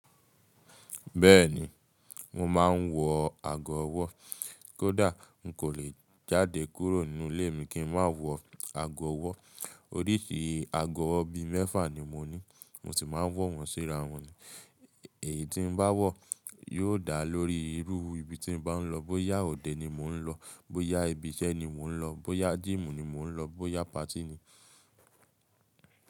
Bẹ́ẹ̀ni, mo máa ń wọ ago ọwọ́. Kódà, n kò lè jáde kúrò nínú ilé mi kí n má wọ ago ọwọ́. Oríṣi ago ọwọ́ bi mẹ́fà ni mo ní, mo sì máa ń wọ̀ wọ́n sí ara wọn. Èyí tí ń bá wọ̀ yóò dá lórí irú ibi tí ń bá ń lọ. Bóyá òde ni mò ń lọ, bóyá ibi iṣẹ́ ni mò ń lọ, bóyá gym ni mò ń lọ, bóyá party ni.